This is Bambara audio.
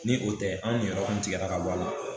Ni o tɛ an niyɔrɔ kun tigɛra ka bɔ a la